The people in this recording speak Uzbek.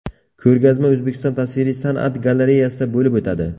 Ko‘rgazma O‘zbekiston tasviriy san’at galereyasida bo‘lib o‘tadi.